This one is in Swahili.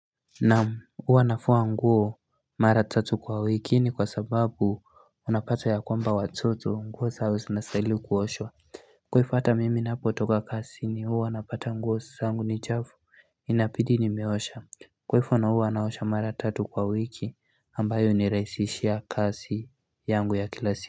Naam huwa nafua nguo mara tatu kwa wiki ni kwa sababu unapata ya kwamba watoto nguo zao zinastahili kuoshwa Kwaifo ata mimi ninapotoka kasi huwa napata nguo zaangu ni chafu inapidi ni meosha Kwaifo na uwa naosha mara tatu kwa wiki ambayo niraisishia kasi yangu ya kilasi.